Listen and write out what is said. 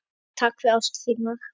Mamma, takk fyrir ást þína.